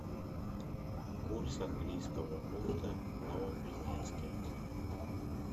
курс английского фунта в новокузнецке